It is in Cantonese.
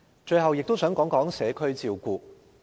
最後我亦想談談社區照顧。